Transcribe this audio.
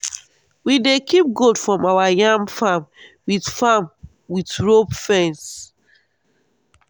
we dey keep goat from our yam farm with farm with rope fence.